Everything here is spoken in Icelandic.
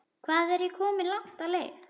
Hvað er ég komin langt á leið?